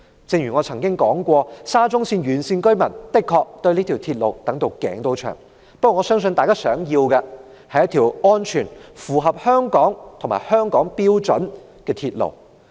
正如我曾經說過，沙中線沿線居民的確對這條鐵路期待已久。不過，我相信大家想要的是一條安全、符合香港標準的鐵路。